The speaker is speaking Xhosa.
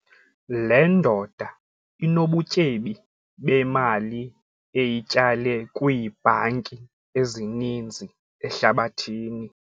Le ndoda inobutyebi bemali eyityale kwiibhanki ezininzi ehlabathini.